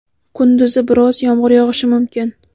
kunduzi biroz yomg‘ir yog‘ishi mumkin.